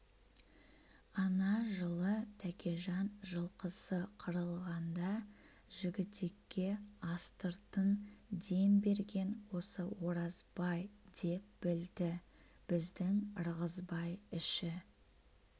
ана жылы тәкежан жылқысы қырылғанда жігітекке астыртын дем берген осы оразбай деп білді біздің ырғызбай іші